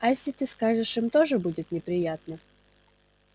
а если ты скажешь им тоже будет неприятно